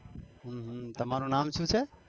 તમારું નામ શું?